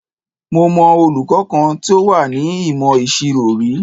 Mo mọ olùkọ́ kan tí ó wà ní ìmọ̀ ìṣirò rí.